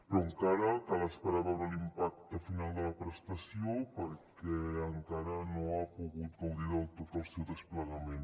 però encara cal esperar a veure l’impacte final de la prestació perquè encara no ha pogut gaudir del tot el seu desplegament